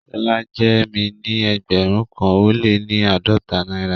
Shola jẹ́ mí ní ẹgbérùn kan o le ni aádọ́tà Naira